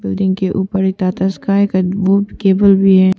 Building के ऊपर एक टाटा स्काई का वो केबल भी है।